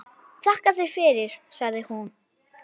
Þakka þér fyrir, sagði hún.